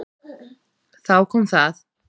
Þá kom það.